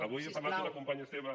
avui ha parlat una companya seva